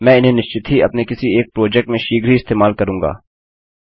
मैं इन्हें निश्चित ही अपने किसी एक प्रोजेक्ट में शीघ्र ही इस्तेमाल करूँगा